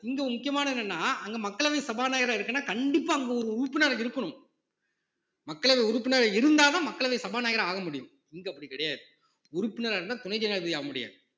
இங்க ஒரு முக்கியமானது என்னன்னா அங்க மக்களவை சபாநாயகரா இருக்குன்னா கண்டிப்பா அங்க ஒரு உறுப்பினர் இருக்கணும் மக்களவை உறுப்பினரா இருந்தாதான் மக்களவை சபாநாயகரா ஆக முடியும் இங்க அப்படி கிடையாது உறுப்பினரா இருந்தா துணை ஜனாதிபதி ஆகமுடியாது